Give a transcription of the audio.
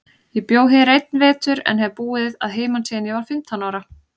Ég bjó hér einn vetur, en hef búið að heiman síðan ég var fimmtán ára.